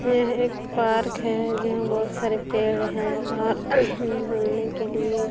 यह एक पार्क हैं जहाँ बहुत सारे पेड़ है और घुमने के लिए --